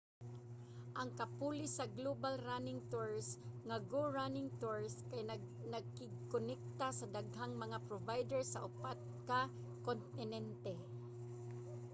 ang kapuli sa global running tours nga go running tours kay nakigkonekta sa daghang mga provider sa upat ka kontinente